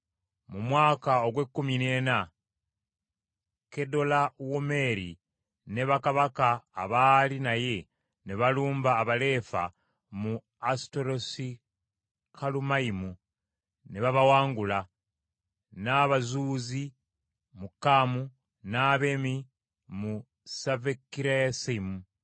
Mu mwaka ogw’ekkumi n’ena Kedolawomeeri ne bakabaka abaali naye ne balumba Abaleefa mu Asuterosikalumayimu ne babawangula, n’Abazuuzi mu Kaamu, n’Abemi mu Savekiriyasayimu,